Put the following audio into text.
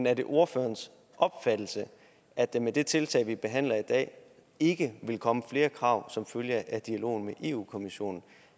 er det ordførerens opfattelse at der med de tiltag vi behandler i dag ikke vil komme flere krav som følge af dialogen med europa kommissionen